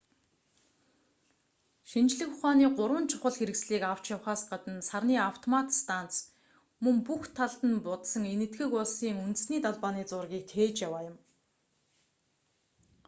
шинжлэх ухааны гурван чухал хэрэгслийг авч явахаас гадна сарны автомат станц мөн бүх талд нь будсан энэтхэг улсын үндэсний далбааны зургийг тээж яваа юм